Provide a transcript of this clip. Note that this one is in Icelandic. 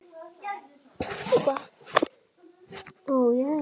Annars visnar það bara, ha.